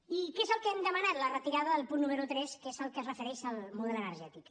i què és el que hem demanat la retirada del punt número tres que és el que es refereix al model energètic